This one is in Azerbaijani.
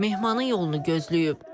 Mehmanın yolunu gözləyib.